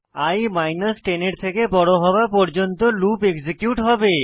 ই 10 এর থেকে বড় হওয়া পর্যন্ত এক্সিকিউট হবে